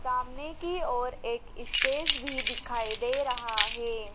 सामने की ओर एक इस्टेज भी दिखाई दे रहा है।